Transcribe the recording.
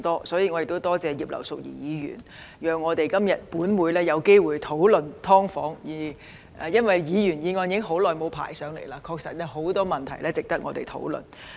所以，我亦感謝葉劉淑儀議員讓本會今天有機會討論"劏房"，因為已經很久沒有機會討論到議員議案了，確實是有很多問題值得我們討論的。